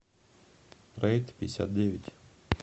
трэйдпятьдесятдевять